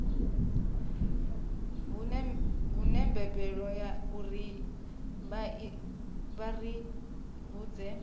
humbelwa uri vha ri vhudze